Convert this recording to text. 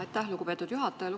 Aitäh, lugupeetud juhataja!